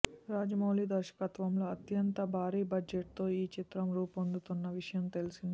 రాజమౌళి దర్శకత్వంలో అత్యంత భారీ బడ్జెట్ తో ఈ చిత్రం రూపొందుతున్న విషయం తెలిసిందే